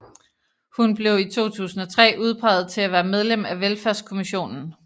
Hun blev i 2003 udpeget til at være medlem af Velfærdskommissionen